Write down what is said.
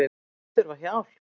Þau þurfa hjálp